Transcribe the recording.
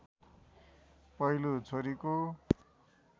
पहिलो छोरीको